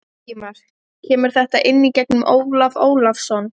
Ingimar: Kemur þetta inn í gegnum Ólaf Ólafsson?